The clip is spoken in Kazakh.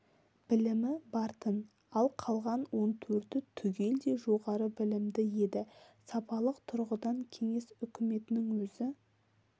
білімі бар-тын ал қалған он төрті түгелдей жоғары білімді еді сапалық тұрғыдан кеңес үкіметінің өзі